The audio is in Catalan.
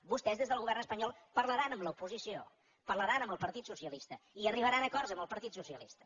vostès des del govern espanyol parlaran amb l’oposició parlaran amb el partit socialista i arribaran a acords amb el partit socialista